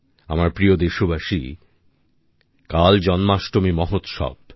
আমার প্রিয় দেশবাসী কাল জন্মাষ্টমী মহোৎসব